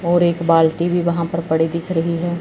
और एक बाल्टी भी वहां पर पड़ी दिख रही है।